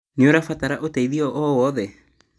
Nĩũrabatara ũteithio owothe?